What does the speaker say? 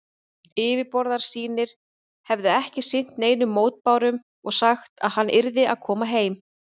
Yfirboðarar sínir hefðu ekki sinnt neinum mótbárum og sagt, að hann yrði að koma heim.